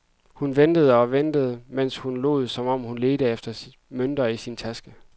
Hun ventede og ventede, mens hun lod, som om hun ledte efter mønter i sin taske.